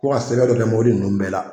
Ko ka sɛbɛn dɔ kɛ mɔbili ninnu bɛɛ la.